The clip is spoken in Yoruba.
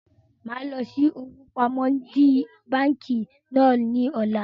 Mo máa lọ sí owó pamọ́ di báńkì náà ni ọ̀la